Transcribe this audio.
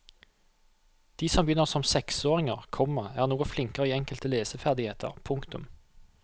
De som begynner som seksåringer, komma er noe flinkere i enkelte leseferdigheter. punktum